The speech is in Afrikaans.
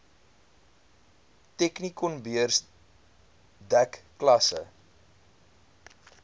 technikonbeurs dek klasse